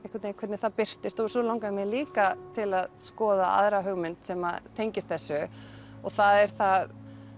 hvernig það birtist svo langaði mig líka til að skoða aðra hugmynd sem að tengist þessu og það er það